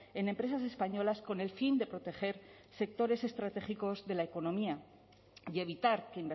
en empresas españolas con el fin de proteger sectores estratégicos de la economía y evitar que